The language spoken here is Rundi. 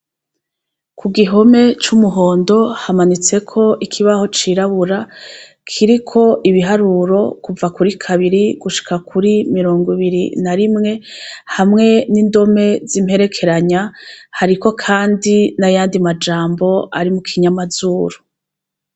Ku gihome c'umuhondo, hamanitse ko ikibaho cirabura kiriko ibiharuro kuva kuri kabiri, gushika kuri mirongo ibiri na rimwe ,hamwe n'indome z'imperekeranya ,hariko kandi n'ayandi majambo ari mu kinyamazuru.